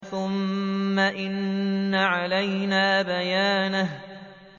ثُمَّ إِنَّ عَلَيْنَا بَيَانَهُ